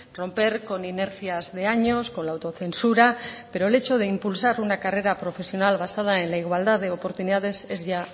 romper con inercias de años con la autocensura pero el hecho de impulsar una carrera profesional basada en la igualdad de oportunidades es ya